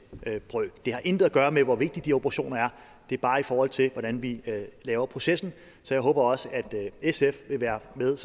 brøk det har intet at gøre med hvor vigtige de operationer er det er bare i forhold til hvordan vi laver processen så jeg håber også at sf vil være med